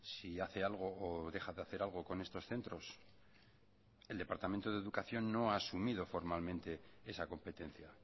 si hace algo o deja de hacer algo con estos centros el departamento de educación no ha asumido formalmente esa competencia